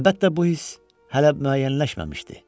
Əlbəttə, bu hiss hələ müəyyənləşməmişdi.